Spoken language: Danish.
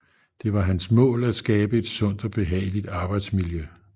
Det var hans mål at skabe et sundt og behageligt arbejdsmiljø